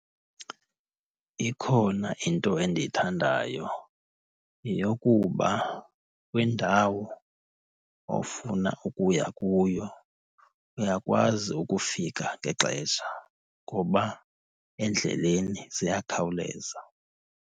Ikhona into endiyithandayo. Yeyokuba kwindawo ofuna ukuya kuyo uyakwazi ukufika ngexesha ngoba endleleni ziyakhawuleza.